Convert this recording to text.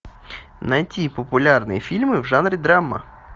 найти популярные фильмы в жанре драма